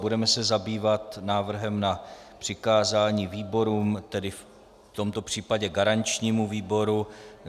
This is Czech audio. Budeme se zabývat návrhem na přikázání výborům, tedy v tomto případě garančnímu výboru.